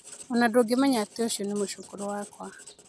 O na ndũngĩmenya atĩ ũcio nĩ mũcũkũrũ wakwa.